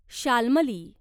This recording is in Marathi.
शाल्मली